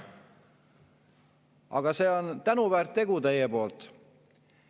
Aga see on tänuväärt tegu nende poolt.